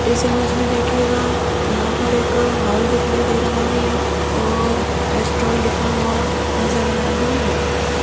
इस इमेज में देखिएगा यहां पर एक हॉल दिखाई दे रहा है और लिखा नजर आ रहा है।